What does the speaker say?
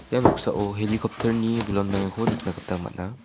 ia noksao helicopter-ni bilonbaengako nikna gita man·a.